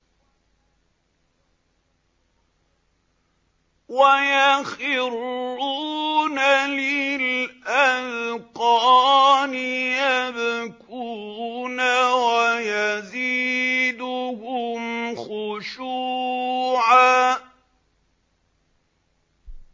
وَيَخِرُّونَ لِلْأَذْقَانِ يَبْكُونَ وَيَزِيدُهُمْ خُشُوعًا ۩